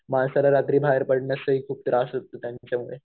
माणसाला रात्री बाहेर पडणं खूप त्रास होतो त्यांच्यामुळे.